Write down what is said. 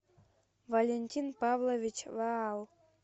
валентин павлович ваал